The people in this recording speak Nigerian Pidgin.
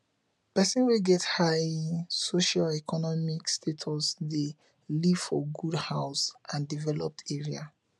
persin wey get high socioeconomic status de live for good house and developed areas